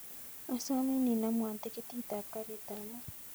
Asomin inamwon tikitit ap karit ap maat